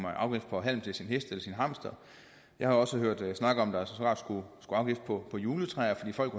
afgift på halm til heste og hamstere jeg har også hørt snak om at der snart skulle afgift på juletræer fordi folk